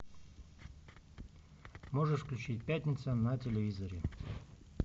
можешь включить пятница на телевизоре